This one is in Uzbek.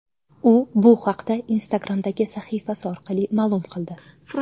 U bu haqda Instagram’dagi sahifasi orqali ma’lum qildi.